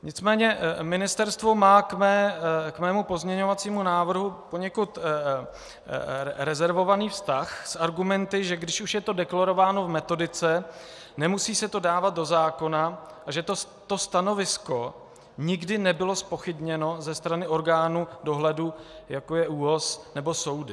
Nicméně ministerstvo má k mému pozměňovacímu návrhu poněkud rezervovaný vztah s argumenty, že když už je to deklarováno v metodice, nemusí se to dávat do zákona, a že to stanovisko nikdy nebylo zpochybněno ze strany orgánů dohledu, jako je ÚOHS nebo soudy.